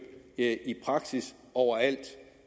i praksis overalt